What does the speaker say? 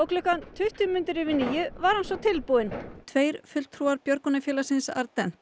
klukkan tuttugu mínútur yfir níu var hann svo tilbúinn tveir fulltrúar björgunarfélagsins